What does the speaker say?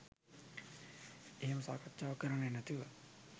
එහෙම සාකච්ඡාවක් කරන්නේ නැතිව